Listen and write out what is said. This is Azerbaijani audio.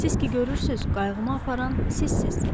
Siz ki görürsüz, qayğımı aparan sizsiz.